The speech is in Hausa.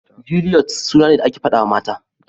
Juliyet suna ne da ake faɗawa mata.